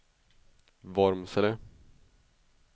Vormsele